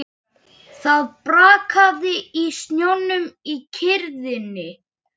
Það brakaði í snjónum í kyrrðinni.